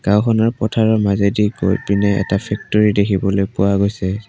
গাওঁখনৰ পথাৰৰ মাজেদি গৈ পিনে এটা ফেক্টৰী দেখিবলৈ পোৱা গৈছে।